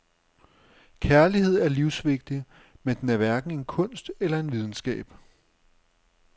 Kærlighed er livsvigtig, men den er hverken en kunst eller en videnskab.